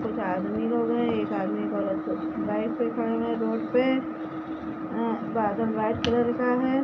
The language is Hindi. कुछ आदमी लोग हैं एक आदमी एक औरत बाइक पे खड़े हुए हैं रोड पे अ-बादल वाइट कलर का है